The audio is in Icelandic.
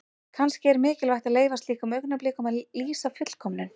Kannski er mikilvægt að leyfa slíkum augnablikum að lýsa fullkomnun.